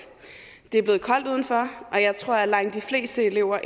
det er blevet koldt udenfor og jeg tror egentlig at langt de fleste elever